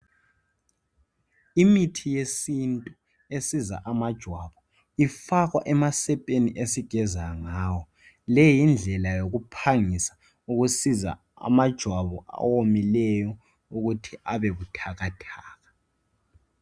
Imithi yesintu esiza amajwabu ifakwa emasepeni esigeza ngawo leyi yindlela yokuphangisa ukusiza amajwabu awomileyo ukuthi abe buthakathaka.